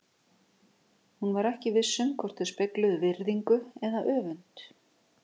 Hún var ekki viss um hvort þau spegluðu virðingu eða öfund?